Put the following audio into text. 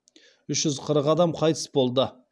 үш жүз қырық адам қайтыс болды